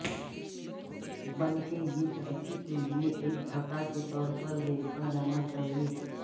بلکہ یہ ترقی کے لئے ایک دھکا کے طور پر دیکھا جانا چاہئے